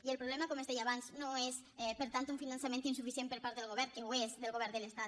i el problema com es deia abans no és per tant un finançament insuficient per part del govern que ho és del govern de l’estat